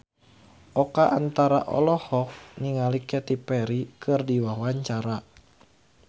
Oka Antara olohok ningali Katy Perry keur diwawancara